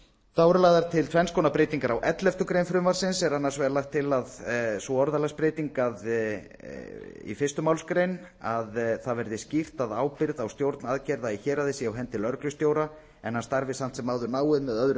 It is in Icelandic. þá eru lagðar til tvenns konar breytingar á elleftu greinar frumvarpsins er annars vegar lögð til sú orðalagsbreyting á fyrstu málsgrein að það verði skýrt að ábyrgð á stjórn aðgerða í héraði sé á hendi lögreglustjóra en hann starfi samt sem áður náið með öðrum